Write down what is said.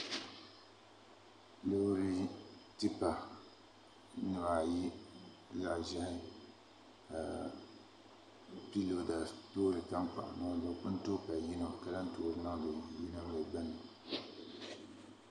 Loori tipa nimaayi zaɣ ʒiɛhi ka piiroda toori tankpaɣu niŋdi di puuni n duhuri yino ka lahi toori niŋdi yino